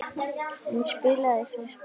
Hann spilaði svo spaða.